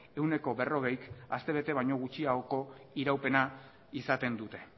ehuneko berrogeik aste bete baino gutxiagoko iraupena izaten dute